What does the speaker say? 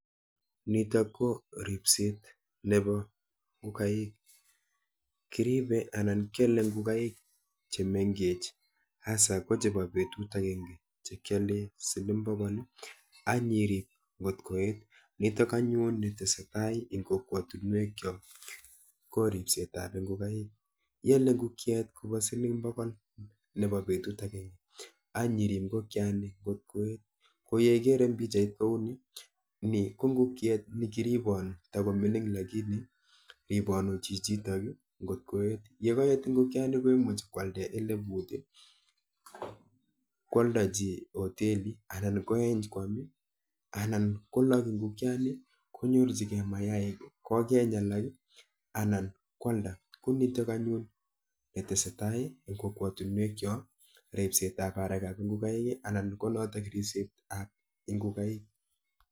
Nitok ko ripset nepo ngokaik. Kiripe anan kyole ngokaik chemenkech has ko chepo petut akenke chekyole siling bokol anyirip nkot koet. Nitok anyun nitesetai eng kokwotunwekchok ko ripsetap ngokaik. Iole ngokiet kopo siling pokol nepo petut akenke anyirip ngokiani nkot koet. Ko yeikere eng pikchait kouni, ni ko ngukiet nekiriponu, takomining lakini riponu chichi nkot koet. yekoet ngokiani komuchi kwaldae eleput, kwoldochi hoteli anan koeny kwam anan kolok ngokiani konyorchikei mayaik kokeny alak anan kwalda. Ku nitok anyun netesetai eng kokwotunwekchok ripsetap arekap ngokaik anan ko notok ripsetap ngokaik.